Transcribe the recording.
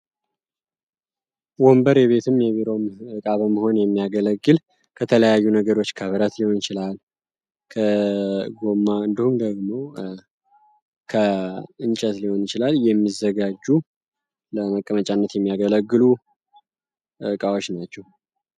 ወንበር የቤትም የቢሮ መሆን የሚያገለግል ከተለያዩ ነገሮች ከጎኑ እንችላለን የሚዘጋጁ ለመቀመጫነት የሚያገለግሉ እቃዎች ናቸው